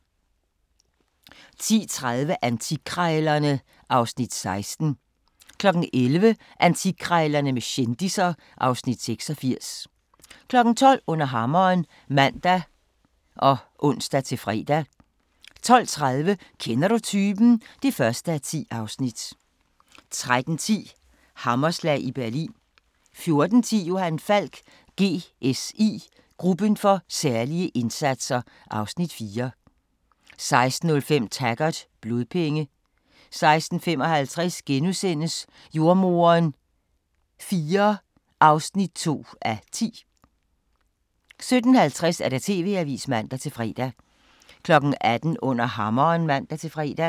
10:30: Antikkrejlerne (Afs. 16) 11:00: Antikkrejlerne med kendisser (Afs. 86) 12:00: Under hammeren (man og ons-fre) 12:30: Kender du typen? (1:10) 13:10: Hammerslag i Berlin 14:10: Johan Falk: GSI – Gruppen for særlige indsatser (Afs. 4) 16:05: Taggart: Blodpenge 16:55: Jordemoderen IV (2:10)* 17:50: TV-avisen (man-fre) 18:00: Under hammeren (man-fre)